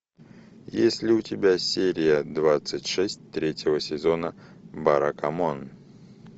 есть ли у тебя серия двадцать шесть третьего сезона баракамон